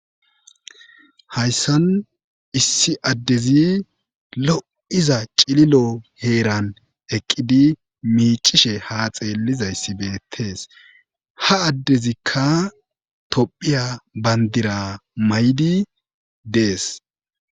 hayssan issi addezi lo7iza cililo heeran eqqidi miicishe haa xeellizayssi beettees ha addezikka tophiya bandira may7di dees